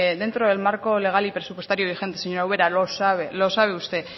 dentro del marco legal y presupuestario vigente señora ubera lo sabe los sabe usted